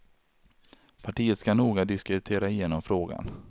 Partiet ska noga diskutera igenom frågan.